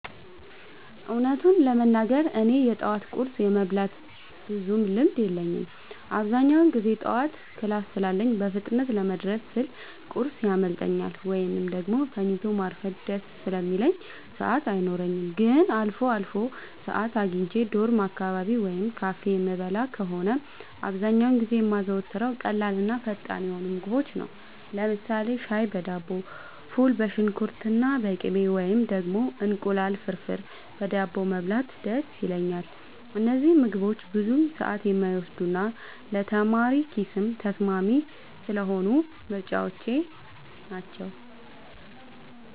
እውነቱን ለመናገር እኔ የጠዋት ቁርስ የመብላት ብዙም ልምድ የለኝም። አብዛኛውን ጊዜ ጠዋት ክላስ ስላለኝ በፍጥነት ለመድረስ ስል ቁርስ ያመልጠኛል፤ ወይም ደግሞ ተኝቶ ማርፈድ ደስ ስለሚለኝ ሰዓት አይኖረኝም። ግን አልፎ አልፎ ሰዓት አግኝቼ ዶርም አካባቢ ወይም ካፌ የምበላ ከሆነ፣ አብዛኛውን ጊዜ የማዘወትረው ቀላልና ፈጣን የሆኑ ምግቦችን ነው። ለምሳሌ ሻይ በዳቦ፣ ፉል በሽንኩርትና በቅቤ፣ ወይም ደግሞ እንቁላል ፍርፍር በዳቦ መብላት ደስ ይለኛል። እነዚህ ምግቦች ብዙ ሰዓት የማይወስዱና ለተማሪ ኪስም ተስማሚ ስለሆኑ ምርጫዎቼ ናቸው።